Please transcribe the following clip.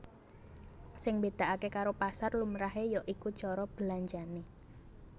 Sing mbedakake karo pasar lumrahe ya iku cara belanjane